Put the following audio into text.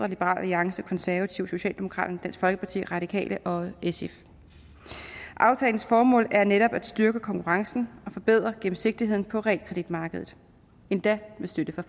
liberal alliance konservative socialdemokraterne dansk folkeparti radikale og sf aftalens formål er netop at styrke konkurrencen og forbedre gennemsigtigheden på realkreditmarkedet endda med støtte fra